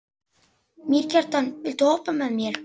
Mýrkjartan, viltu hoppa með mér?